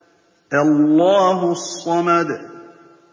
اللَّهُ الصَّمَدُ